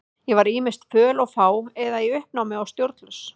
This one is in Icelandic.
Ég var ýmist föl og fá eða í uppnámi og stjórnlaus.